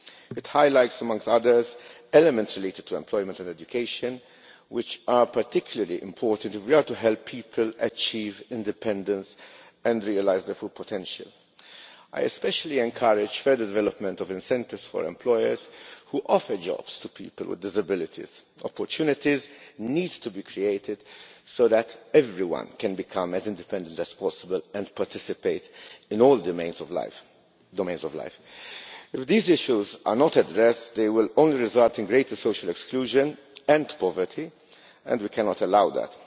It highlights amongst other things elements related to employment and education, which are particularly important if we are to help people achieve independence and realise their full potential. I especially encourage further development of incentives for employers who offer jobs to people with disabilities. Opportunities need to be created so that everyone can become as independent as possible and participate in all domains of life. If these issues are not addressed, they will only result in greater social exclusion and poverty and we cannot allow that.